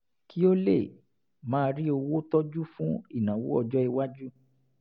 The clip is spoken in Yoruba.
kí ó lè máa rí owó tọjú fún ìnáwó ọjọ́-iwájú